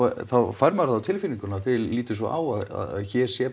þá fær maður það á tilfinninguna að þið lítið svo á að hér sé